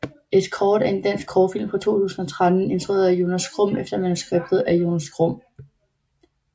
Escort er en dansk kortfilm fra 2013 instrueret af Jonas Grum efter manuskript af Jonas Grum